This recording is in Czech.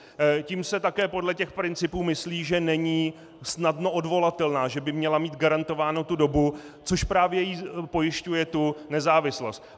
Tím se také podle těch principů myslí, že není snadno odvolatelná, že by měla mít garantovánu tu dobu, což právě jí pojišťuje tu nezávislost.